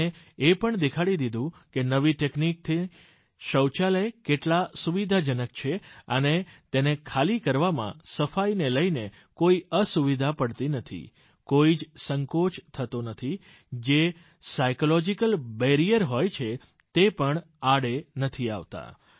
તેમણે એ પણ દેખાડી દીધું કે નવી ટેકનીકના શૌચાલય કેટલા સુવિધાજનક છે અને તેને ખાલી કરવામાં સફાઈને લઈને કોઈ અસુવિધા પડતી નથી કોઈ જ સંકોચ થતો નથી જે સાયકોલોજિકલ બેરિયર હોય છે તે પણ આડે નથી આવતા